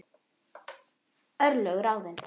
Örlög ráðin